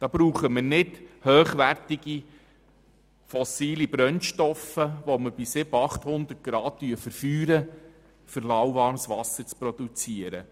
Dazu benötigen wir keine hochwertigen fossilen Brennstoffe, die wir bei 700 bis 800 Grad verbrennen.